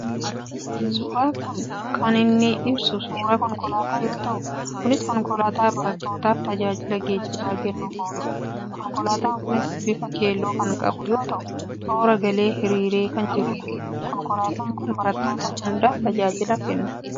Suuraan kun kan inni ibsu suuraa konkolaataa yoo ta'u Kunis konkolaataa barattoottaaf tajaajila geejjibaa kennuuf oolu dha. Konkolaataan Kunis bifa keelloo kan qabu yoo ta'u toora galee hiriiree kan jiru dha. Konkolaataan kun barattoota hundaaf tajaajila kennaa?